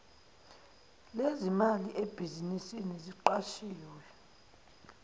lezimali ebhizinisini aqashwe